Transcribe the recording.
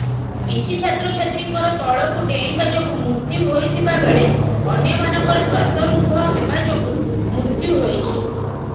କିଛି ଛାତ୍ରଛାତ୍ରୀଙ୍କର ତଳକୁ ଡେଇଁବା ଯୋଗୁ ମୃତ୍ୟୁ ହୋଇଥିବା ବେଳେ ଅନ୍ୟମାନଙ୍କର ଶ୍ୱାସରୁଦ୍ଧ ହେବା ଯୋଗୁ ମୃତ୍ୟୁ ହୋଇଛି